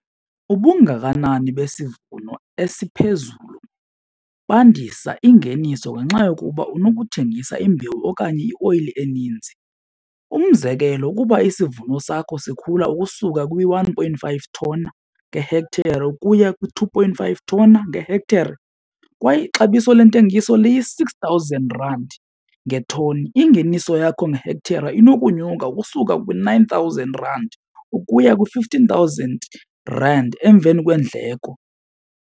Ubungakanani besivuno esiphezulu bandisa ingeniso ngenxa yokuba unokuthengisa imbewu okanye ioyili eninzi. Umzekelo, ukuba isivuno sakho sikhula ukusuka kwi-one point five thoni ngehekhthere ukuya kwii-two point five thona ngehekhthere kwaye ixabiso lentengiso liyi-six thousand rand ngethoni ingeniso yakho ngehekhthere inokunyuka ukusuka kwi-nine thousand rand ukuya kwi-fifteen thousand rand emveni kweendleko.